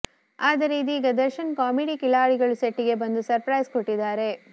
ಆದರೆ ಇದೀಗ Darshan comedy Khiladigalu set ಗೆ ಬಂದು ಸರ್ಪ್ರೈಸ್ ಕೊಟ್ಟಿದ್ದಾರೆ